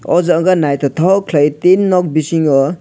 oh jaga naithothok khwlai tin nok bisingo.